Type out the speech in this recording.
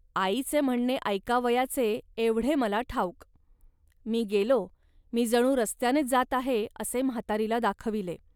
आईचे म्हणणे ऐकावयाचे, एवढे मला ठाऊक. मी गेलो, मी जणू रस्त्यानेच जात आहे, असे म्हातारीला दाखविले